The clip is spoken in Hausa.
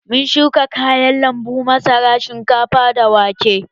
Mun shuka kayan lambu, masara, shinkafa da wake.